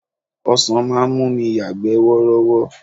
Ọsan máa ń mú mi yagbe worowo.